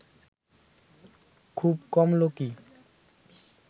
খুব কম লোকই